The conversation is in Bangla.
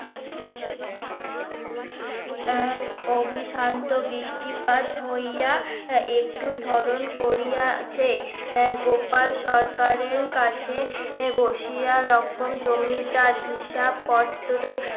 অবিশান্ত বৃষ্টিপাত হইয়া একটু ধরণ করিয়া আছে আহ গোপাল সরকারের কাছে এ রকম জমিদার হিসাব পত্র